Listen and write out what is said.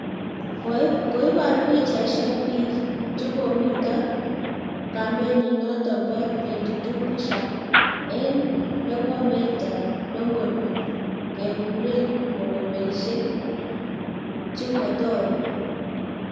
koiboru pichaisek biik chokomito kampenito bo #22 "push Up" eng lekometah longonot kekureen mokondoisiek chemutokuu